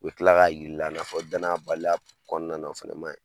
U bɛ kila k'a yir'i la i n'a fɔ danabaliya kɔnɔna na o fana ma ɲi.